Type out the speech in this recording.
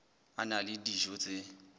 a na le dijo tse